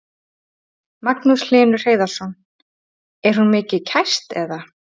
Magnús Hlynur Hreiðarsson: Er hún mikið kæst eða?